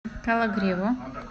кологриву